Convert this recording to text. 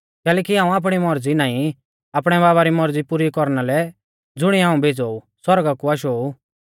कैलैकि हाऊं आपणी मौरज़ी नाईं पर आपणै बाबा री मौरज़ी पुरी कौरना लै ज़ुणीऐ हाऊं भेज़ौ ऊ सौरगा कु आशौ ऊ